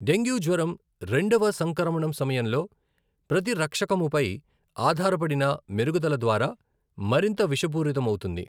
Dengue జ్వరం రెండవ సంక్రమణం సమయంలో ప్రతిరక్షకముపై ఆధారపడిన మెరుగుదల ద్వారా మరింత విషపూరితమౌతుంది .